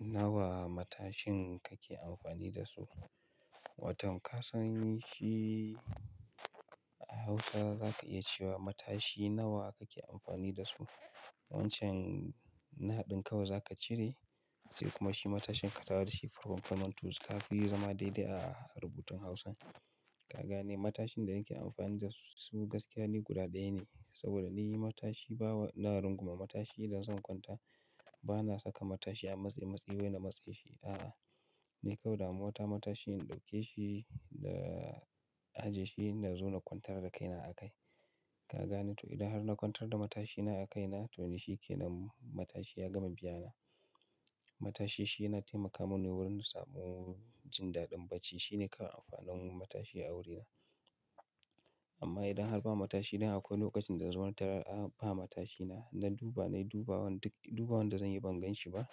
Nawa matashin kake amfani da su? Watan ka san shi a Hausa za ka iya cewa matashi nawa kake amfani da su. Wancan na haɗin kawai za ka cire sai kuma shi matashin ka tawo dashi ya zamanto kafi zama daidai a rubutun Hausa. Ka gane matashin da nake amfani da su gaskiya ni guda ɗaya ne. Saboda ni matashi bawa na runguma matashi idan zan kwanta bana saka matashi a matsematse wai na matse shi. A'a, ni kawai damuwata matashi in ɗauke shi da ajiye shi na zo na kwantar da kaina a kai. Ka gane to idan har na kwantar da matashina a kaina to ni shi ke nan matashi ya gama biya na. Matashi shi yana taimaka mini wurin samun jin daɗin bacci. Shi ne kawai amfanin matashi a wurina. Amma idan har ba matashi dan akwai lokacin da nazo na tarar a ba matashina na duba nayi duba wanda duk dubawanda zanyi ban gan shi ba.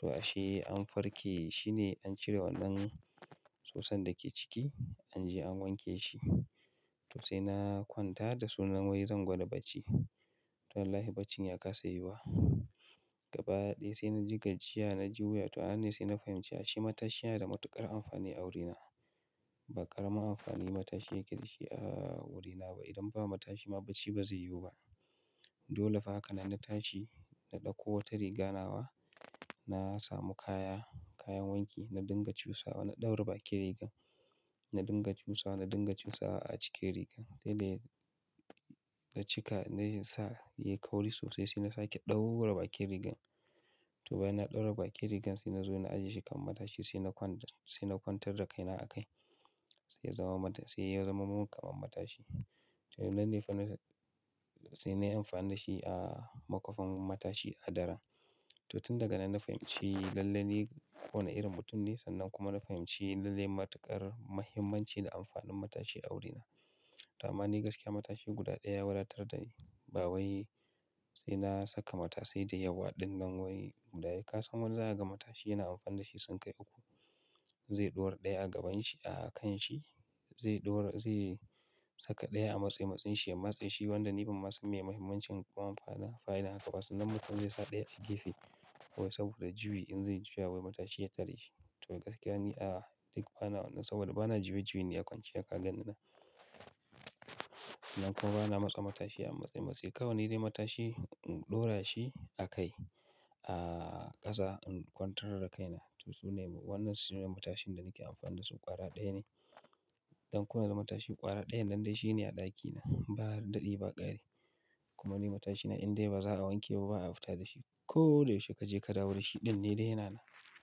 To ashe an farke shine an cire wannan susan da ke ciki an je an wanke shi. To sai na kwanta da sunan wai zan gwada bacci. To wallahi bacci ya kasa yiwuwa. Gaba ɗaya sai naji gajiya na ji wuya. To anan ne sai na fahimci ashe matashi yana da matuƙar amfani a wurina. Ba ƙaramin amfani matashi yake da shi a wurina ba. Idan ba matashi ma bacci ba zai yiwu ba. Dole fa hakana na tashi na ɗauko wata riga nawa na samu kaya kayan wanki na dinga cusawa na ɗaure bakin riga. Na dinga cusawa na dinga cusawa a cike rigan sai dai na cika na sa yayi kauri sosai sai na sake ɗaure bakin rigan. To bayan na ɗaure bakin rigan sai nazo na ajiye shi kan matashi sai na kwan sai na kwantar da kaina a kai sai ya zama mata sai ya zama mun kamar matashi. To nan ne fa sai nayi amfani da shi a makwafin matashi a daren. To tun daga nan na fahimci lalle ne kowane irin mutum ne sannan kuma na fahimci lalle matuƙar muhimmanci da amfanin matashi a wurina. To amma ni gaskiya matashi guda ɗaya ya wadatar dani. Ba wai sai na saka matashai da yawa ɗinnan wai guda ka san wani zakaga matashi yana amfani da shi sun kai uku. Zai ɗaura ɗaya a gaban shi a kan shi zai ɗaura zai saka ɗaya a matsematshin shi ya matse shi wanda ni ban ma san meye mahimmanci ko amfanin haka ba. Sannan mutum zai sa ɗaya a gefe wai saboda juyi in zai juya wai matashi ya tare shi. To gaskiya ni a'a duk bana wannan saboda bana juye juye ni a kwanciya ka ganni nan. Nan kuma bana matsa matashi a matsematse kawai ni dai matashi in ɗaura shi a kai a ƙasa in kwantar da kaina. To sune wannan sune matashin da nake amfani da su ƙwara ɗaya ne. Don ko yanzu matashi ƙwara ɗayan nan dai shi ne a ɗakina ba da ɗi ba ƙari. Kuma ni matashina in dai ba za a wanke ba ba a fita da shi ko da yaushe kaje ka dawo da shi ɗan ne dai yana nan.